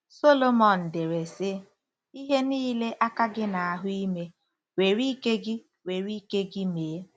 Solomon dere, sị: “Ihe niile aka gị na-ahụ ime, were ike gị were ike gị mee.